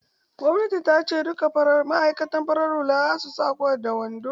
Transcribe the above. Gwannati ta ce "Duka ma'aikatan farar hula su sa kwat da wando"!